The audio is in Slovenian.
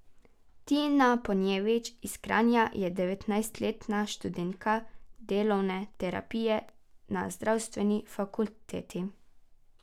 Tina Ponjevič iz Kranja je devetnajstletna študentka delovne terapije na zdravstveni fakulteti.